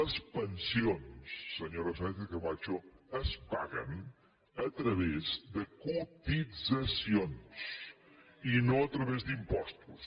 les pensions senyora sánchezcamacho es paguen a través de cotitzacions i no a través d’impostos